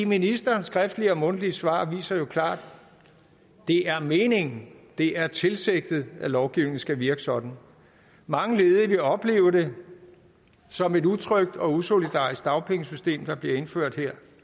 ministerens skriftlige og mundtlige svar viser jo klart at det er meningen og det er tilsigtet at lovgivningen skal virke sådan mange ledige vil opleve det som et utrygt og usolidarisk dagpengesystem der her bliver indført